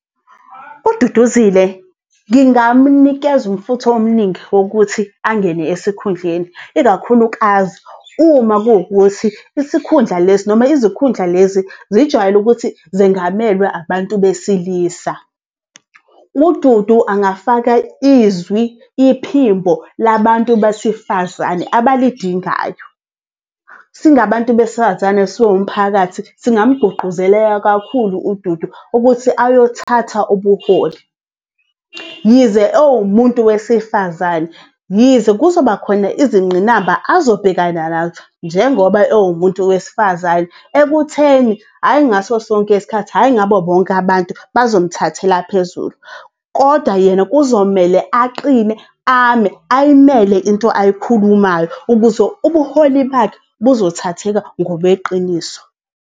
UDuduzile ngingamnikeza umfutho omningi wokuthi angene esikhundleni, ikakhulukazi uma kuwukuthi isikhundla lesi noma izikhundla lezi zijwayele ukuthi zengamelwe abantu besilisa. UDudu angafaka izwi, iphimbo labantu basifazane abalidingayo. Singabantu besifazane, siwumphakathi singamgqugquzeleka kakhulu uDudu ukuthi ayothatha ubuholi yize ewumuntu wesifazane, yize kuzoba khona izinqinamba azobhekana nazo njengoba ewumuntu wesifazane ekutheni hhayi ngaso sonke isikhathi, hhayi ngabo bonke abantu bazomthathela phezulu. Kodwa yena kuzomele aqine ame, ayimele into ayikhulumayo ukuze ubuholi bakhe buzothatheka ngobeqiniso.